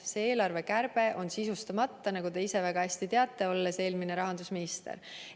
See eelarvekärbe on sisustamata, nagu te ise väga hästi teate, olles eelmine rahandusminister.